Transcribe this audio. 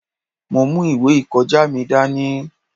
Mo mú ìwé ìkọjá mi dání.